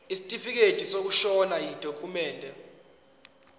isitifikedi sokushona yidokhumende